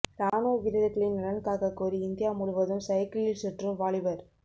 ராணுவ வீரர்களின் நலன் காக்ககோரி இந்தியா முழுவதும் சைக்கிளில் சுற்றும் வாலிபர்